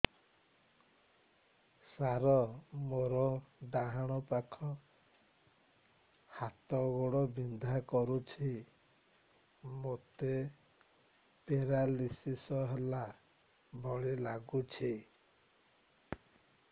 ସାର ମୋର ଡାହାଣ ପାଖ ହାତ ଗୋଡ଼ ବିନ୍ଧା କରୁଛି ମୋତେ ପେରାଲିଶିଶ ହେଲା ଭଳି ଲାଗୁଛି